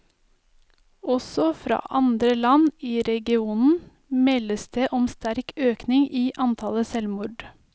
Også fra andre land i regionen meldes det om sterk økning i antallet selvmord.